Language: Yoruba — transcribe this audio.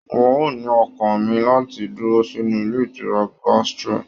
Wọn o ní ọkàn mí láti dúró sínú ilé ìtura gastro.